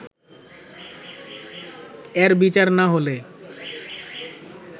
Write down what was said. এর বিচার না হলে